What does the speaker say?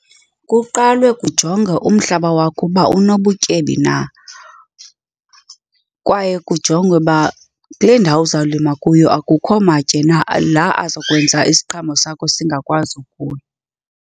Kuqalwe kujongwe umhlaba wakho uba unobutyebi na kwaye kujongwe uba kule ndawo uzawulima kuyo akukho matye na, la azokwenza isiqhamo sakho singakwazi ukhula.